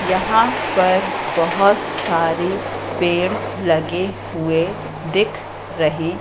यहां पर बहोत सारे पेड़ लगे हुए दिख रहे--